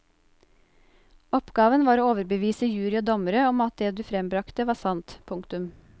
Oppgaven var å overbevise jury og dommere om at det du frembragte var sant. punktum